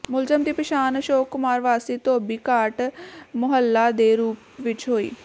ਮੁਲਜ਼ਮ ਦੀ ਪਛਾਣ ਅਸ਼ੋਕ ਕੁਮਾਰ ਵਾਸੀ ਧੋਬੀ ਘਾਟ ਮੁਹੱਲਾ ਦੇ ਰੂੁਪ ਵਿੱਚ ਹੋਈ